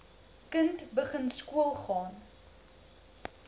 kind begin skoolgaan